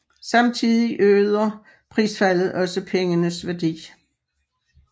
Samtidig øger prisfaldet også pengenes værdi